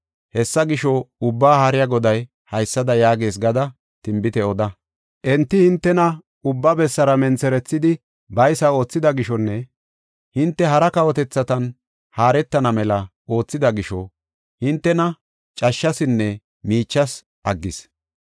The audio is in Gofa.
Hessa gisho, Ubbaa Haariya Goday haysada yaagees gada tinbite oda. Enti hintena ubba bessara mentherethidi baysa oothida gishonne hinte hara kawotethatan haaretana mela oothida gisho hintena cashshasinne miichas aggis.